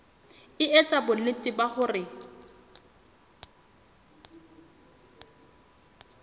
e etsa bonnete ba hore